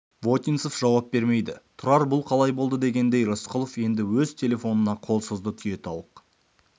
вотинцев жауп бермейді тұрар бұл қалай болды дегендей рысқұлов енді өз телефонына қол созды түйетауық